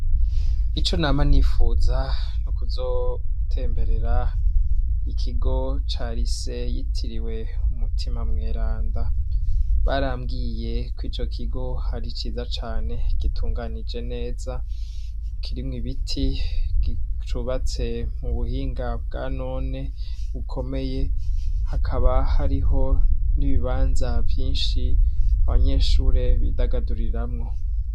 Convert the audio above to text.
Ico nama nifuza ni ukuzotemberera ikigo cari se yitiriwe umutima mweranda barambwiye ko ico kigo ari iciza cane gitunganije neza kirimwe ibiti gicubatse mu buhinga bwa none ukomeye hakaba hariho n'ibibanza vyinshi abanyeshure bidagaduriramwo.